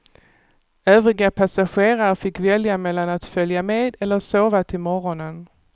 Övriga passagerare fick välja mellan att följa med eller sova till morgonen.